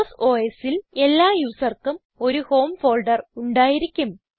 boss OSൽ എല്ലാ യൂസർക്കും ഒരു ഹോം ഫോൾഡർ ഉണ്ടായിരിക്കും